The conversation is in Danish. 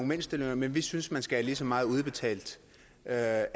mindstelønninger men vi synes man skal have lige så meget udbetalt af